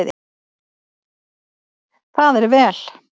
Það er vel